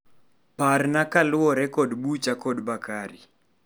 Parna kaluwore kod bucha kod Bakari.